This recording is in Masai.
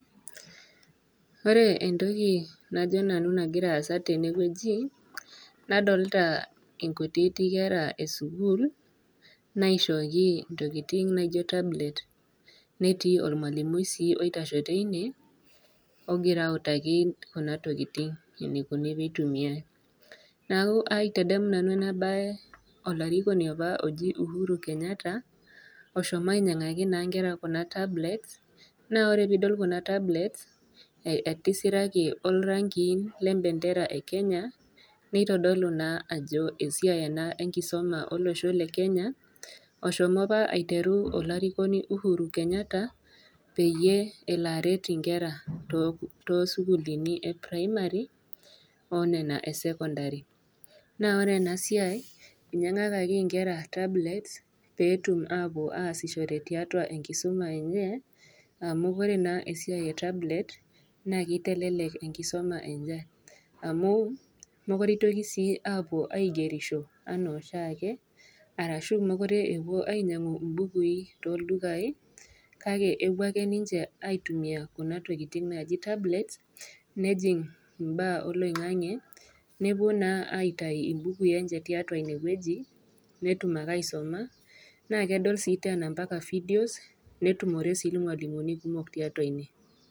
Ore entoki najo nanu egira aasa tene wueji, nadolita inkutiiti kera e sukuul, naishooki intokitin naijo tablets, netii olmwalimui sii oitasho teine, ogira autaki kuna tokitin eneikuni pee eitumiyai, neaku aitadamu nanu ena baye olarikoni opa oji Uhuru Kenyatta oshomo ainyang'aki naa inkera tablets. Naa ore pee idol kuna tablets, etisiraki torankiin le empendera e Kenya, neitodolu naa ajo esiai ena enkisuma olosho le Kenya, nashomo opa aiteru olarikoni Uhuru Kenyatta, peyie elo aret inkera too isukulini e Primary o nena e Secondary, naa ore ena siai einyang'akaki inkera peetum ashom ataasishore tiatua enkisuma enye amu ore naa esiai e tablets, naa keitelelek enkisuma enye, amu, mekure sii eitoki aapuo aigerisho anaa oshiake, arashu mekure epuo ainyang'u imbukui too ildukai kake epuo ake ninche aitumiya kuna tokitin naaji tablets, nejing' imbaa oloing'ang'e, nepuo naa aitayu imbukui enye tiatua ine wueji, netum ake aisuma, nedol ake ompaka vidios, netumore sii ilmwalimuni kumok tiatua ine.